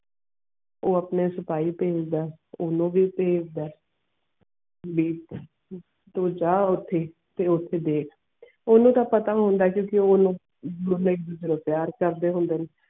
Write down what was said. ਉਹ ਆਪਣੇ ਸਪਾਹੀ ਪੈਜਦਾ ਓਨੁ ਵੀ ਪੈਜਦਾ ਤੂੰ ਜਾ ਓਥੇ ਤੇ ਓਥੇ ਦਿੱਖ ਓਨੁ ਤਾ ਪਤਾ ਜਾਦੂ ਓਨੁ ਤੈਯਾਰ ਕਰਦੇ ਹੋਂਦੇ.